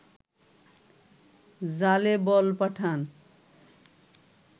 জালে বল পাঠান